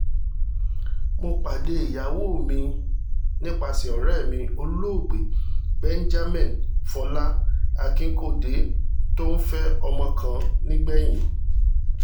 mo pàdé ìyàwó mi nípasẹ̀ ọ̀rẹ́ mi olóògbé benjamin fọlá akikode tó ń fẹ́ ọmọ kan nìgbẹ̀yìn